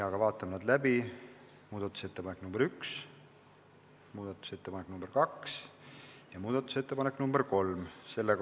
Aga vaatame need läbi: muudatusettepanek nr 1, muudatusettepanek nr 2 ja muudatusettepanek nr. 3.